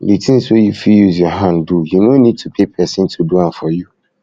di things wey you fit use your hand do you no need to pay person to do am for you